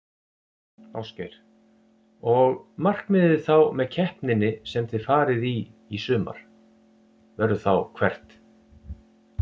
Ásgeir: Og markmiðið þá með keppninni sem þið farið í sumar, verður þá hvert?